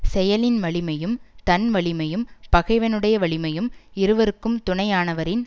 செயலின் வலிமையும் தன் வலிமையும் பகைவனுடைய வலிமையும் இருவருக்கும் துணையானவரின்